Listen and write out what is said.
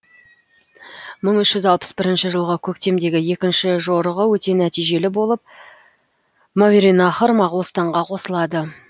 мың үш жүз алпыс бірінші жылғы көктемдегі екінші жорығы өте нәтижелі болып мауераннахр моғолстанға қосылады